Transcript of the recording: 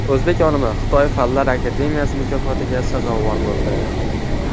O‘zbek olimi Xitoy fanlar akademiyasi mukofotiga sazovor bo‘ldi.